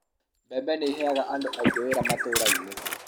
mbembe ni ĩheaga andũ aingĩ wĩra matũraini